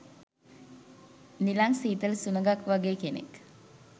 නිලං සීතල සුලඟක් වගේ කෙනෙක්.